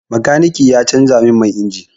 Makaniki ya canza min man injin.